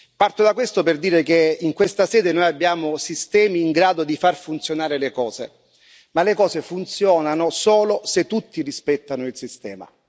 Parto da questo per dire che in questa sede noi abbiamo sistemi in grado di far funzionare le cose, ma le cose funzionano solo se tutti rispettano il sistema.